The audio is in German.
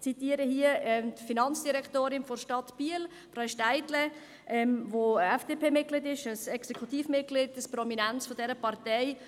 Ich zitiere die Finanzdirektorin der Stadt Biel, Frau Silvia Steidle, die FDP-Mitglied ist, ein Exekutivmitglied, ein prominentes dieser Partei.